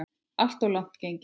Alltof langt gengið.